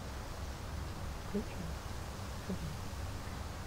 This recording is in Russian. включи жива